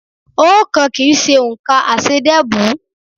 Oókan kì í ṣe òǹkà aṣeédẹ́bùú.